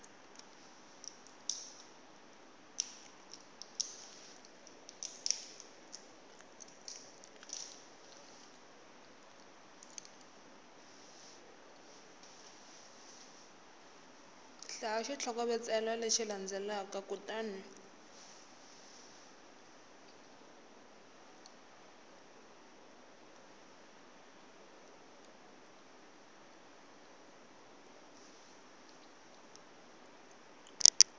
hlaya xitlhokovetselo lexi landzelaka kutani